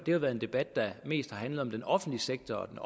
jo været en debat der mest har handlet om den offentlige sektor og den